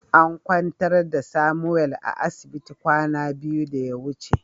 An kwantar da "Samuel" a asibiti kwana biyu da ya wuce.